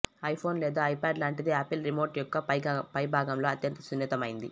iPhone లేదా iPad లాంటిది Apple remote యొక్క పైభాగంలో అత్యంత సున్నితమైనది